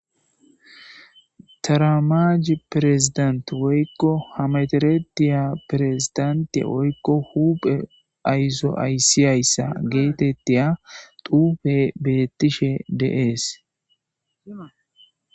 taramaj pirezidant woykko hameterediya pirezidante woykko huphe ayzo ayssiyayssa geetettiya dupe bettishe deees